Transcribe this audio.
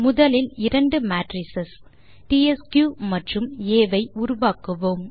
முதலில் இரண்டு மேட்ரிஸ் டிஎஸ்கியூ மற்றும் ஆ ஐ உருவாக்குவோம்